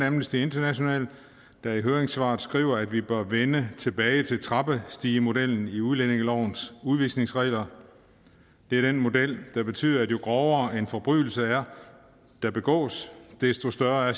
amnesty international der i høringssvaret skriver at vi bør vende tilbage til trappestigemodellen i udlændingelovens udvisningsregler det er den model der betyder at jo grovere en forbrydelse der begås er desto større er